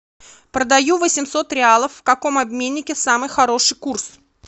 продаю восемьсот реалов в каком обменнике самый хороший курс